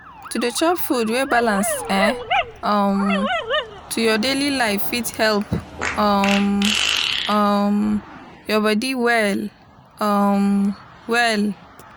to dey chop food wey balance eh um to your daily life fit help um um your bodi well um well